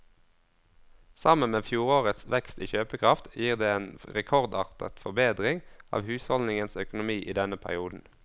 Sammen med fjorårets vekst i kjøpekraft gir det en rekordartet forbedring av husholdningenes økonomi i denne perioden.